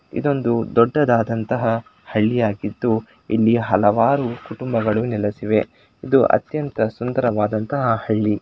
ಇದು ಒಂದು ದೊಡ್ಡದಾದ ಹಳ್ಳಿಯಾಗಿದ್ದು ಇಲ್ಲಿ ಹಲವಾರು ಕುಟುಂಬಗಳು ನೆಲೆಸಿವೆ ಇದು ಅತ್ಯಂತ ಸುಂದರವಾದಂತಹ ಹಳ್ಳಿ.